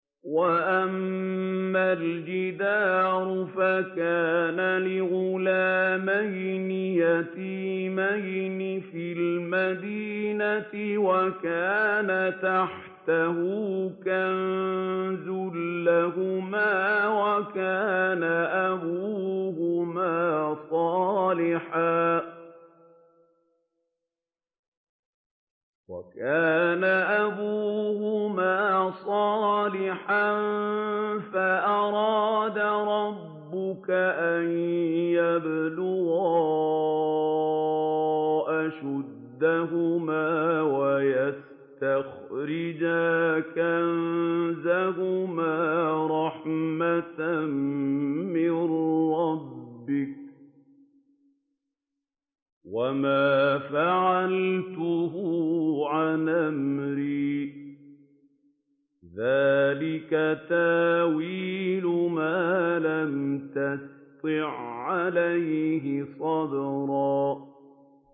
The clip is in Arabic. وَأَمَّا الْجِدَارُ فَكَانَ لِغُلَامَيْنِ يَتِيمَيْنِ فِي الْمَدِينَةِ وَكَانَ تَحْتَهُ كَنزٌ لَّهُمَا وَكَانَ أَبُوهُمَا صَالِحًا فَأَرَادَ رَبُّكَ أَن يَبْلُغَا أَشُدَّهُمَا وَيَسْتَخْرِجَا كَنزَهُمَا رَحْمَةً مِّن رَّبِّكَ ۚ وَمَا فَعَلْتُهُ عَنْ أَمْرِي ۚ ذَٰلِكَ تَأْوِيلُ مَا لَمْ تَسْطِع عَّلَيْهِ صَبْرًا